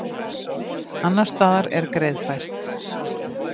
Annars staðar er greiðfært